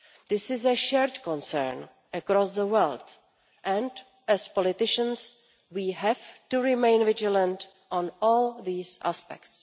This is a shared concern across the world, and as politicians we have to remain vigilant on all these aspects.